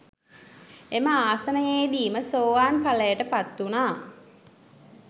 එම ආසනයේදීම සෝවාන් ඵලයට පත්වුනා.